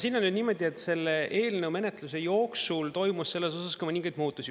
Siin on nüüd niimoodi, et selle eelnõu menetluse jooksul toimus selles osas mõningaid muutusi.